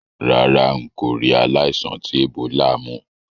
Rárá, n kò ri aláìsàn ti Ebola mú